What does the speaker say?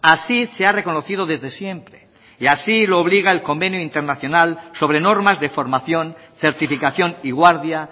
así se ha reconocido desde siempre y así lo obliga el convenio internacional sobre normas de formación certificación y guardia